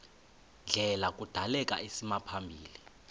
ndlela kudaleka isimaphambili